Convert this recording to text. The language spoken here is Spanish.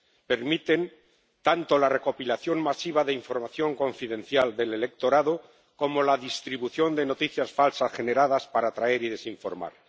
permiten tanto la recopilación masiva de información confidencial del electorado como la distribución de noticias falsas generadas para atraer y desinformar.